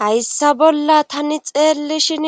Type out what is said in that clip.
hayssa bolla tani xeellishin